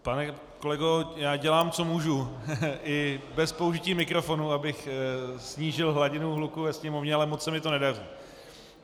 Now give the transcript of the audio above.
Pane kolego, já dělám, co můžu i bez použití mikrofonu, abych snížil hladinu hluku ve sněmovně, ale moc se mi to nedaří.